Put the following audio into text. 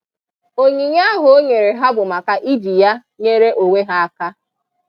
onyinye ahụ o nyere ha bụ maka iji ya nyere onwe ha aka